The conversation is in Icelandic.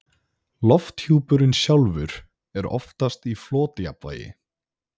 lofthjúpurinn sjálfur er oftast í flotjafnvægi